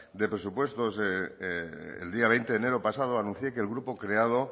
de presupuestos el día veinte de enero pasado anuncié que el grupo creado